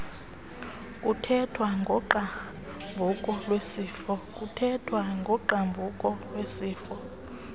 kuthethwa ngogqabhuko lwesifo